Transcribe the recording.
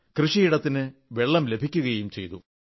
കൃഷിയിടത്തിന് വെള്ളം ലഭിക്കയും ചെയ്തു